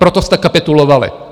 Proto jste kapitulovali.